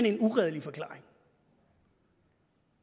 en uredelig forklaring